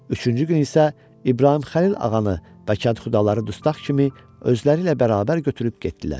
Üçüncü gün isə İbrahim Xəlil ağanı və kənd xudaları dustaq kimi özləri ilə bərabər götürüb getdilər.